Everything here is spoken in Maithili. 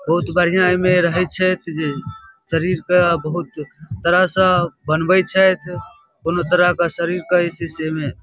बहुत बढ़िया एमे रहेत छैथ जे शरीर के बहुत तरह से बनवे छैथ पूर्ण तरह से शरीर के जे छै एमे --